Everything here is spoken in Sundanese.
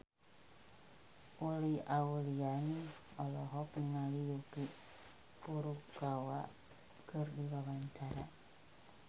Uli Auliani olohok ningali Yuki Furukawa keur diwawancara